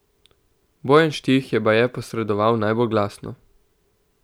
Bojan Štih je baje posredoval najbolj glasno.